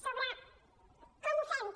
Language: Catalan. sobre com ho fem també